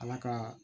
Ala ka